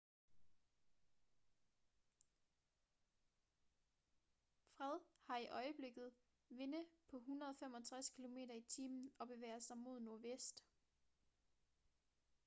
fred har i øjeblikket vinde på 165 km/t og bevæger sig mod nordvest